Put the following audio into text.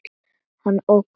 Hann ógnar.